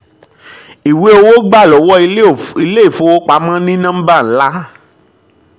ìwé owó gbà lọ́wọ́ ilé-ìfowópamọ́ ní nọ́mbà ńlá